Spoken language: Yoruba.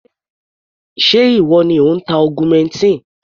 Ṣé ìwọ ni ò ń ta augmentin?